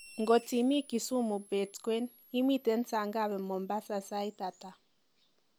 ngot imi kisumu beet kwen imiten sangapi mombasa sait ata